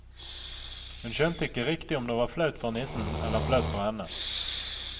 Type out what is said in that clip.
Hun skjønte ikke riktig om det var flaut for nissen eller flaut for henne.